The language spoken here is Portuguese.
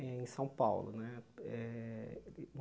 Eh em São Paulo, né? Eh